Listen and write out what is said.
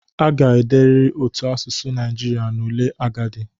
A ga-ederịrị otu asụsụ Naijiria n'ule agadi